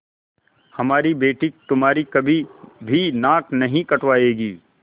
हमारी बेटी तुम्हारी कभी भी नाक नहीं कटायेगी